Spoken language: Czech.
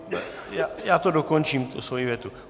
Já to dokončím, tu svoji větu.